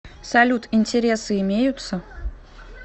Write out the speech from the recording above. салют интересы имеются